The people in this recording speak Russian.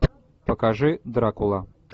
покажи дракула